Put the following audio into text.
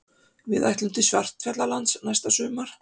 Við ætlum til Svartfjallalands næsta sumar.